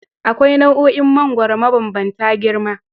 Akwai nau'o'in mangoro mabambanta girma.